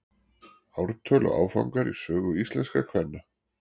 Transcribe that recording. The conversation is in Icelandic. ártöl og áfangar í sögu íslenskra kvenna